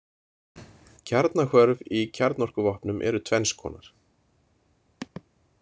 Kjarnahvörf í kjarnorkuvopnum eru tvenns konar.